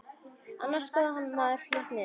Annars koðnar maður fljótt niður.